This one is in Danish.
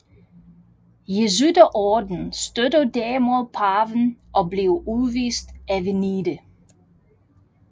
Jesuiterordenen støttede derimod paven og blev udvist af Venedig